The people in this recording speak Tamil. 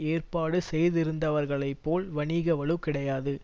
ஏற்பாடு செய்திருந்தவர்களைப் போல் வணிக வலு கிடையாது